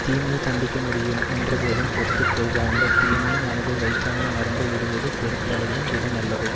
தீமையை தண்டிக்க முடியும் என்றபோதும் பொறுத்து கொள்க அந்த தீமையை மனத்துள் வைக்காமல் மறந்தே விடுவது பொறுத்தலையும் விட நல்லது